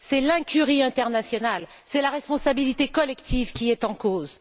C'est l'incurie internationale, c'est la responsabilité collective qui est en cause.